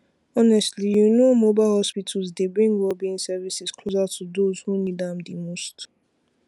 honestly you know mobile hospital dy bring wellbeing services closer to those who need am dimost